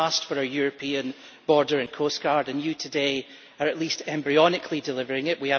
They asked for a European border and coast guard, and you today are at least embryonically delivering it.